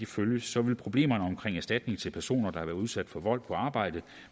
følges vil problemerne omkring erstatning til personer der udsat for vold på arbejdet